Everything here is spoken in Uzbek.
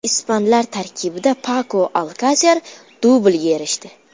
Ispanlar tarkibida Pako Alkaser dublga erishdi.